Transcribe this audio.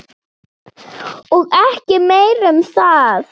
Og ekki meira um það!